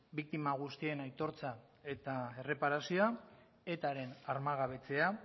biktima guztien aitortza eta erreparazioa etaren armagabetzea